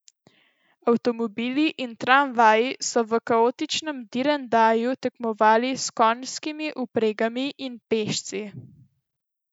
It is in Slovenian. Avtomobili in tramvaji so v kaotičnem direndaju tekmovali s konjskimi vpregami in pešci.